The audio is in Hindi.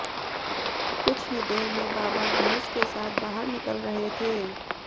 कुछ ही देर में बाबा भैंस के साथ बाहर निकल रहे थे